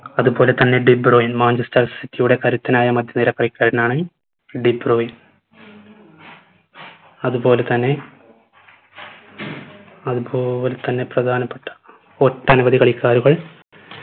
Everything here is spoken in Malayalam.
അത് പോലെ തന്നെ ടിബ്‌റോയിൻ മാഞ്ചസ്റ്റർ city യുടെ കരുത്തനായ മധ്യ നിര കളിക്കാരനാണ് ടിബ്‌റോയിൻ അത് പോലെ തന്നെ അത് പോലെത്തന്നെ പ്രധാനപ്പെട്ട ഒട്ടനവധി കളിക്കാരുകൾ